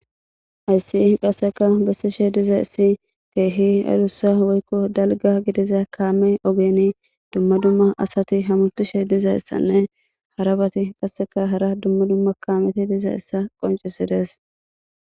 Hayssi qasseka bessishe diza issi keehi adussa woykko dalga gidiza kaame ogeni dumma dumma asati hamutishe dizayessanne harabati qasseka hara dumma dumma kaameti diza issa qoncisides.